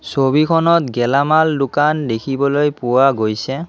ছবিখনত গেলামাল দোকান দেখিবলৈ পোৱা গৈছে।